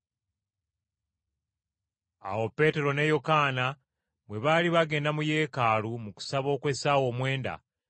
Awo Peetero ne Yokaana bwe baali bagenda mu Yeekaalu mu kusaba okw’essaawa omwenda,